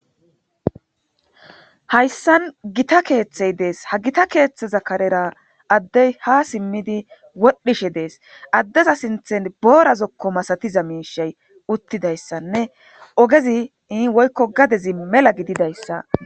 Hayssan gita keeththey dees. Ha gita keethheza karera addey haa simmidi wodhdhishe dees. Addeza sinththen boora zokko masatiza miishshey uttidayssanne ogezi woykko gadezi mela gididayssa